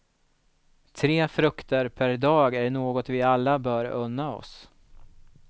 Tre frukter per dag är något vi alla bör unna oss.